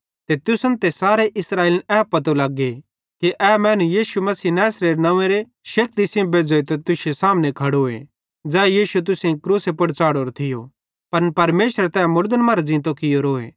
ते तुसन ते सारे इस्राएलिन ए पतो लग्गे कि ए मैनू यीशु मसीह नैसरेरे नव्वेंरी शक्ति सेइं बेज़्झ़ोइतां तुश्शे सामने खड़ोए ज़ै यीशु तुसेईं क्रूसे पुड़ च़ाढ़ोरो थियो पन परमेशरे तै मुड़दन मरां ज़ींतो कियोरोए